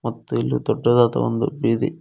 ಮತ್ತು ಇದು ದೊಡ್ಡದಾದ ಒಂದು ಬೀದಿ--